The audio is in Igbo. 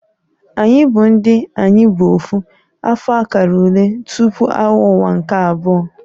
Anyị bụ ndị "Ayi bu Ofu" afọ akara ule tupu Agha Ụwa nke Abụọ"